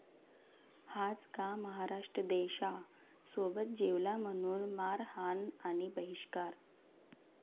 हाच का महाराष्ट्र देशा?, सोबत जेवला म्हणून मारहाण आणि बहिष्कार!